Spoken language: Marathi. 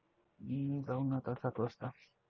जाऊ न आता सात वाजता.